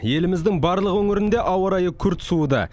еліміздің барлық өңірінде ауа райы күрт суыды